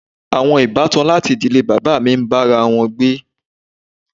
Àwọn ìbátan láti ìdílé bàbá mi ń bá wa gbé.